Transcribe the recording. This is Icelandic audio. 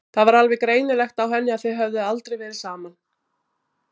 Það var alveg greinilegt á henni að þið höfðuð aldrei verið saman.